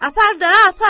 Apar da, apar!